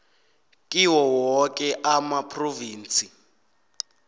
kiwo woke amaphrovinsi